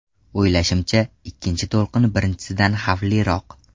O‘ylashimcha, ikkinchi to‘lqin birinchisidan xavfliroq.